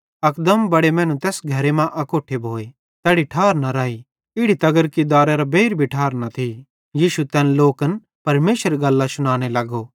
अकदम बड़े मैनू तैस घरे मां अकोट्ठे भोए तैड़ी ठार न राई इड़ी तगर कि दारे केरां बेइर भी ठार न थी यीशु तैन लोकन परमेशरेरी गल्लां शुनाने लगो